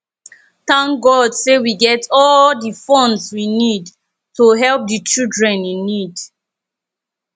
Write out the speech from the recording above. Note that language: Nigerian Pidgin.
thank god say we get all the funds we need to help the children in need